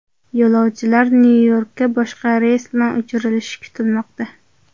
Yo‘lovchilar Nyu-Yorkka boshqa reys bilan uchirilishi kutilmoqda.